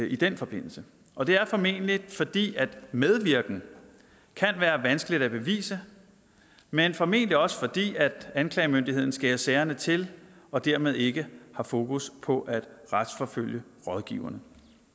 i den forbindelse og det er formentlig fordi medvirken kan være vanskeligt at bevise men formentlig også fordi anklagemyndigheden skærer sagerne til og dermed ikke har fokus på at retsforfølge rådgiverne